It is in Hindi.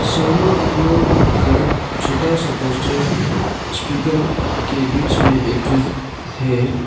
शर्मा ऑडियो लिखकर छोटा सा पोस्टर स्पीकर के बीच में एक ठो है।